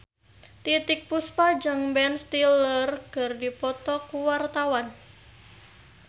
Titiek Puspa jeung Ben Stiller keur dipoto ku wartawan